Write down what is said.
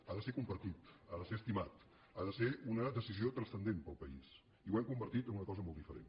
ha de ser compartit ha de ser estimat ha de ser una decisió transcendent per al país i ho hem convertit en una cosa molt diferent